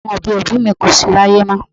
Àwọn òbí òbí mi kò sí láyé mọ́.